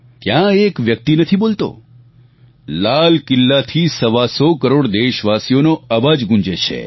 ત્યાં એ એક વ્યક્તિ નથી બોલતો લાલ કિલ્લાથી સવા સો કરોડ દેશવાસીનો અવાજ ગૂંજે છે